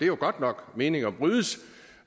jo godt nok at meninger brydes